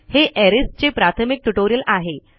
हे अरेज चे प्राथमिक ट्युटोरियल आहे